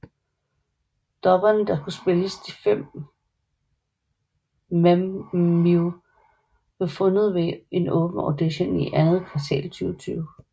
Dubberne der skulle spille de fem Mem Mew blev fundet ved en åben audition i andet kvartal 2020